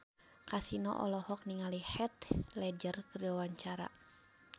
Kasino olohok ningali Heath Ledger keur diwawancara